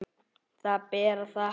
Það ber að þakka.